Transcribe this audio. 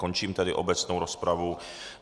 Končím tedy obecnou rozpravu.